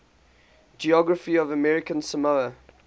geography of american samoa